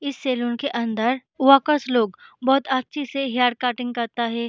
इस सैलून के अंदर वर्कर्स लोग बहोत अच्छे से हेयर कटिंग करता है।